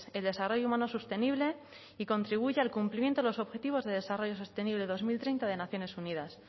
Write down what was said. el desarrollo humano sostenible y contribuya al cumplimiento de los objetivos de desarrollo sostenible dos mil treinta de naciones unidas